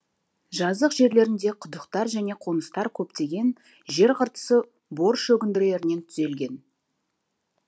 жазық жерлерінде құдықтар және қоныстар көптеген жер қыртысы бор шөгінділерінен түзелген